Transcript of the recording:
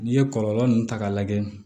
N'i ye kɔlɔlɔ nunnu ta k'a lajɛ